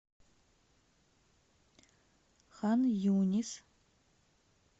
хан юнис